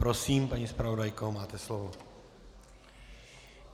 Prosím, paní zpravodajko, máte slovo.